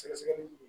Sɛgɛsɛgɛli